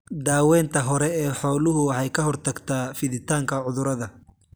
Daawaynta hore ee xooluhu waxay ka hortagtaa fiditaanka cudurrada.